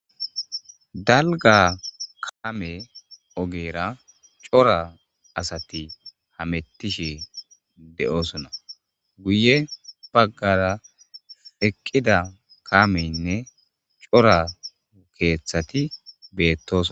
dalga kaame ogera cora asati hamettishe de7oosonna guye baggara eqqida kameynne cora ukeeththati beettoso